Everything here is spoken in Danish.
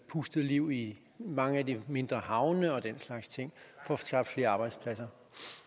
pustet liv i mange af de mindre havne og den slags ting får skabt flere arbejdspladser